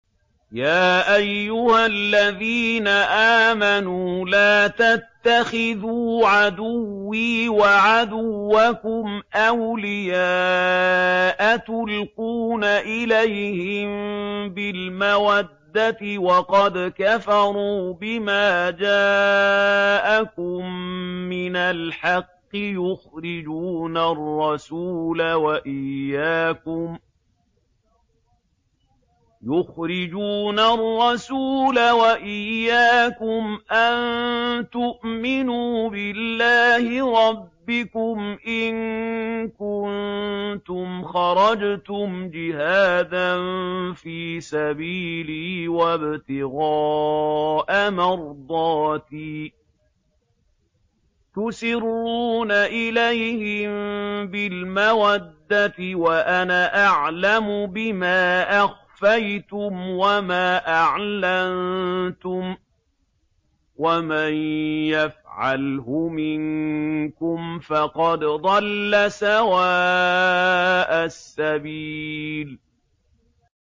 يَا أَيُّهَا الَّذِينَ آمَنُوا لَا تَتَّخِذُوا عَدُوِّي وَعَدُوَّكُمْ أَوْلِيَاءَ تُلْقُونَ إِلَيْهِم بِالْمَوَدَّةِ وَقَدْ كَفَرُوا بِمَا جَاءَكُم مِّنَ الْحَقِّ يُخْرِجُونَ الرَّسُولَ وَإِيَّاكُمْ ۙ أَن تُؤْمِنُوا بِاللَّهِ رَبِّكُمْ إِن كُنتُمْ خَرَجْتُمْ جِهَادًا فِي سَبِيلِي وَابْتِغَاءَ مَرْضَاتِي ۚ تُسِرُّونَ إِلَيْهِم بِالْمَوَدَّةِ وَأَنَا أَعْلَمُ بِمَا أَخْفَيْتُمْ وَمَا أَعْلَنتُمْ ۚ وَمَن يَفْعَلْهُ مِنكُمْ فَقَدْ ضَلَّ سَوَاءَ السَّبِيلِ